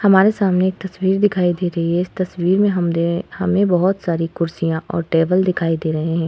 हमारे सामने एक तस्वीर दिखाई दे रही है। इस तस्वीर में हम दे हमे बहोत सारी कुर्सियाँ और टेबल दिखाई दे रही हैं।